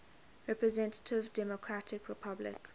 representative democratic republic